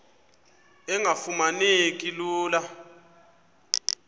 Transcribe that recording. engafuma neki lula